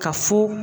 Ka fo